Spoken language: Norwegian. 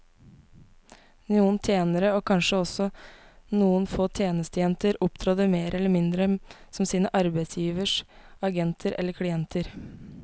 Noen tjenere, og kanskje også noen få tjenestejenter, opptrådte mer eller mindre som sine arbeidsgiveres agenter eller klienter.